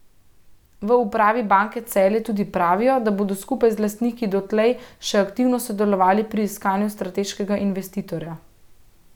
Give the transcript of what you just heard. V upravi Banke Celje tudi pravijo, da bodo skupaj z lastniki dotlej še aktivno sodelovali pri iskanju strateškega investitorja.